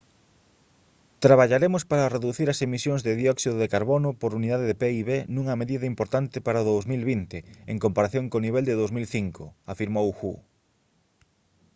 traballaremos para reducir as emisións de dióxido de carbono por unidade de pib nunha medida importante para o 2020 en comparación co nivel de 2005 afirmou hu